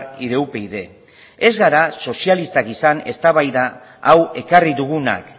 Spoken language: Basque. y de upyd ez gara sozialistak izan eztabaida hau ekarri dugunak